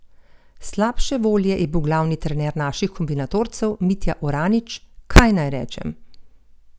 Slabše volje je bil glavni trener naših kombinatorcev, Mitja Oranič: "Kaj naj rečem.